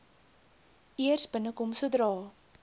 eers binnekom sodra